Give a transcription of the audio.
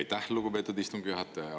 Aitäh, lugupeetud istungi juhataja!